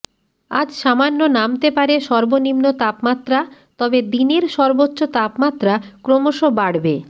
আজ সামান্য নামতে পারে সর্বনিম্ন তাপমাত্রা তবে দিনের সর্বোচ্চ তাপমাত্রা ক্রমশ বাড়বে